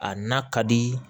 A na ka di